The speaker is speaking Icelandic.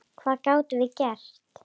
Hvað gátum við gert?